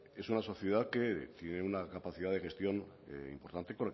es una sociedad que tiene una capacidad de gestión importante